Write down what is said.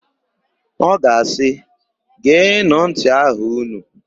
Ọ ga-asị, "geenụ ntị aha ụnụ"!